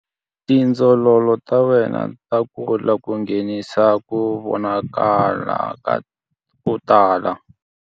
Tindzololo ta wena ta kula ku nghenisa ku vonakala ko tala.